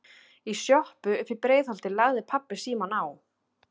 Í sjoppu uppí Breiðholti lagði pabbi símann á.